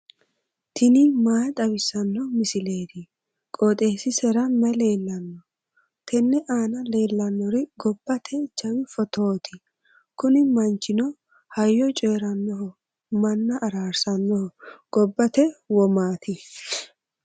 tini maa xawissanno misileeti? qooxeessisera may leellanno? tenne aana leellannori gobbate jawi footooti. kuni manchino hayyo coyiirannoho manna araarsannoho gobbate womaati.